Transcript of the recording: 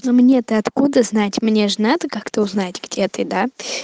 ну мне-то откуда знать мне ж надо как-то узнать где ты да